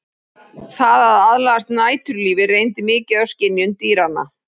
Það að aðlagast næturlífi reyndi mikið á skynjun dýranna.